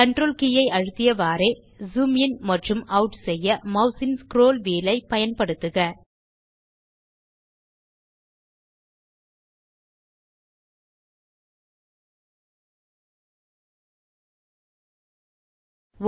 Ctrl K அழுத்திய வண்ணம் zoom in மற்றும் ஆட் செய்ய மெளசின் ஸ்க்ரோல் வீல் பயன்படுத்தவும்